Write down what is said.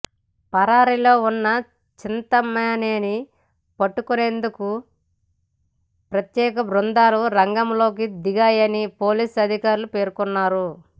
పరారీలో ఉన్న చింతమనేని పట్టుకునేందుకు ప్రత్యేక బృందాలు రంగంలోకి దిగాయని పోలీసు అధికారులు పేర్కొన్నారు